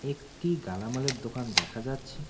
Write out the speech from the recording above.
একটি গালামালের দোকান দেখা যাচ্ছে।